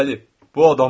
Bəli, bu adamdır.